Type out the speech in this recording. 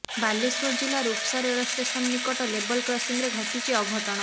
ବାଲେଶ୍ୱର ଜିଲ୍ଲା ରୁପ୍ସା ରେଳ ଷ୍ଟେସନ ନିକଟ ଲେବଲକ୍ରସିଂରେ ଘଟିଛି ଅଘଟଣ